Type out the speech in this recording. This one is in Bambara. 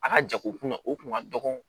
A ka jago kun na o kun ka dɔgɔ